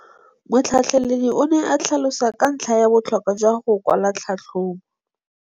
Motlhatlheledi o ne a tlhalosa ka ntlha ya botlhokwa jwa go kwala tlhatlhôbô.